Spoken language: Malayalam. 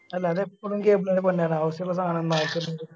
അല്ല അതെപ്പഴും cable ന്റൊരു പണിയാണ് അവശ്യോള്ള സാനങ്ങൾ